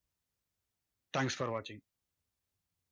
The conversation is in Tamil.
Thanks for watching